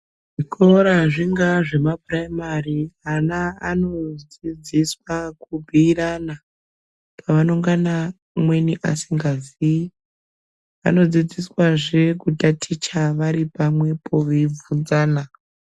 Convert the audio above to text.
Zvikora zvingaa zvemapuraimari ana anodzidziswa kubhuirana. Pavanongana umweni asingazii anodzidziswazve kutaticha varipamwepo veibvunzana.